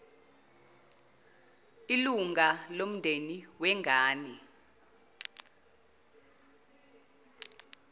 ilunga lomndeni wengane